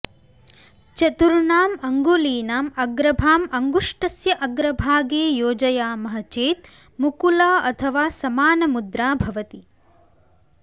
चतुर्णाम् अङ्गुलीनाम् अग्रभाम् अङ्गुष्टस्य अग्रभागे योजयामः चेत् मुकुल अथवा समानमुद्रा भवति